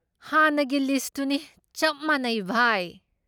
ꯍꯥꯟꯅꯒꯤ ꯂꯤꯁꯠꯇꯨꯅꯤ ꯆꯞ ꯃꯥꯅꯩ, ꯚꯥꯏ꯫